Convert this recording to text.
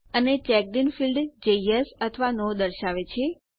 અને checked in field જે yes અથવા નો દર્શાવે છે